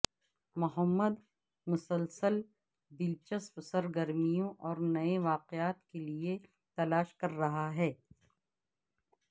محمد مسلسل دلچسپ سرگرمیوں اور نئے واقعات کے لئے تلاش کر رہا ہے